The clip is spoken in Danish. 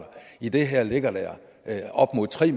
i det her ligger der op imod tre